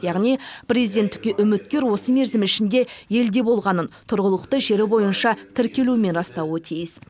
яғни президенттікке үміткер осы мерзім ішінде елде болғанын тұрғылықты жері бойынша тіркелуімен растауы тиіс